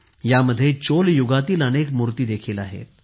यामध्ये चोल युगातील अनेक मुर्त्या देखील आहेत